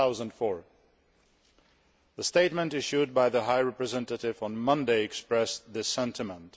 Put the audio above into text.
2004. The statement issued by the High Representative on Monday expressed this sentiment.